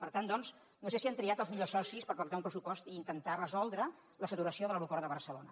per tant doncs no sé si han triat els millors socis per pactar un pressupost i intentar resoldre la saturació de l’aeroport de barcelona